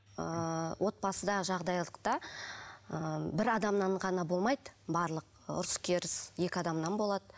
ыыы отбасыда жағдайлықта ыыы бір адамнан ғана болмайды барлық ұрыс керіс екі адамнан болады